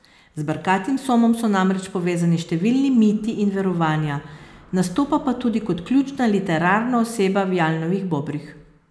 Z brkatim somom so namreč povezani številni miti in verovanja, nastopa pa tudi kot ključna literarna oseba v Jalnovih Bobrih.